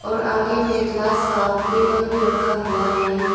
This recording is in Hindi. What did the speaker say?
और आगे में ग्लास का टेबल भी रखा हुआ है।